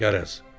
Qərəz.